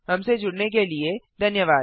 हमसे जुड़ने के लिए धन्यवाद